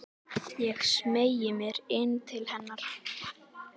Ég smeygi mér inn til hennar.